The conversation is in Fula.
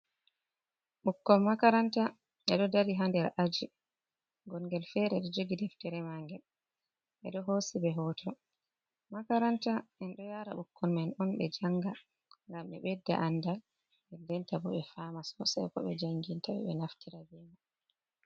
Ɓukkoi makaranta ɓeɗo dari ha nder aji gon ngel fere ɗo jogi deftere mangel ɓeɗo hosi ɓe hoto. Makaranta en ɗo yara bikkoi man on ɓe janga ngam ɓe ɓedda andal, dendenta bo ɓe fama sosai ko ɓe jangintaɓe ɓe naftira beman.